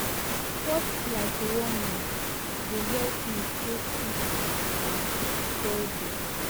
sports like running dey help me stay fit and healthy